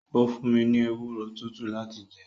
ó fún mi ní ewúro tútù láti jẹ.